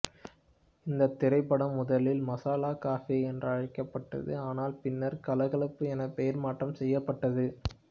இந்தத் திரைப்படம் முதலில் மசாலா கஃபே என்றழைக்கப்பட்டது ஆனால் பின்னர் கலகலப்பு என பெயர் மாற்றம் செய்யப்பட்டது